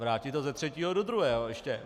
Vrátit to ze třetího do druhého, ještě.